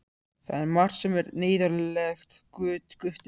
Það er margt sem er neyðarlegt, Gutti minn.